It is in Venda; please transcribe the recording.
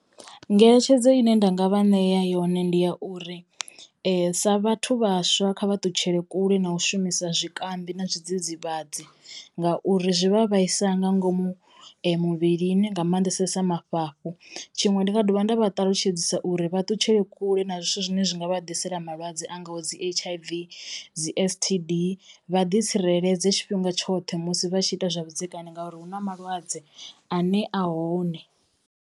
Ngeletshedzo ine nda nga vha ṋea yone ndi ya uri sa vhathu vhaswa kha vha ṱutshele kule na u shumisa zwikambi na zwidzidzivhadzi ngauri zwi vha vhaisa nga ngomu muvhilini nga mannḓesesa mafhafhu tshiṅwe ndi nga dovha nda vha ṱalutshedzisa uri vha ṱutshele kule na zwithu zwine zwi nga vha ḓisela malwadze a ngaho dzi H_I_V, dzi S_T_D. Vha ḓi tsireledze tshifhinga tshoṱhe musi vha tshi ita zwavhudzekani ngauri hu na malwadze ane a hone.